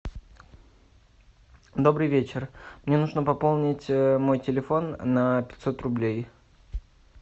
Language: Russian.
добрый вечер мне нужно пополнить мой телефон на пятьсот рублей